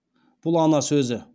бұл ана сөзі